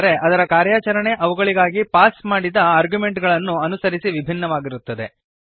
ಆದರೆ ಅದರ ಕಾರ್ಯಾಚರಣೆ ಅವುಗಳಿಗಾಗಿ ಪಾಸ್ ಮಾಡಿದ ಆರ್ಗ್ಯುಮೆಂಟ್ಗಳನ್ನು ಅನುಸರಿಸಿ ವಿಭಿನ್ನವಾಗಿರುತ್ತದೆ